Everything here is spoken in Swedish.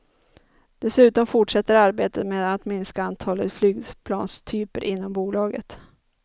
Dessutom fortsätter arbetet med att minska antalet flygplanstyper inom bolaget.